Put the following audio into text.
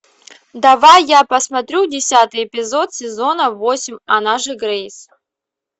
давай я посмотрю десятый эпизод сезона восемь она же грейс